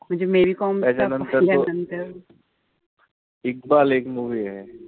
त्याच्यानंतर तो ही एक movie ए.